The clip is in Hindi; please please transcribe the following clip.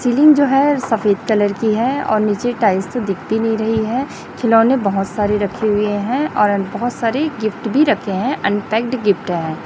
सीलिंग जो है सफेद कलर की है और नीचे टाइल्स दिख भी नहीं रही है खिलौने बहुत सारी रखे हुए है और बहुत सारे गिफ्ट भी रखे है अनपैक्ड गिफ्ट है।